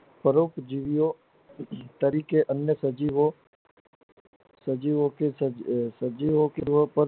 દરેક જીવી ઓ તરીકે અન્ય સજીવો સજીવો કે સજીવો